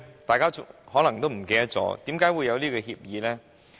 大家可能已忘記，為甚麼會有這協議呢？